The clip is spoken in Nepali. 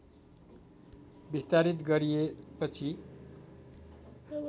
विस्तारित गरिए पछि